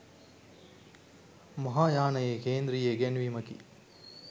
මහායානයේ කේන්ද්‍රීය ඉගැන්වීමකි.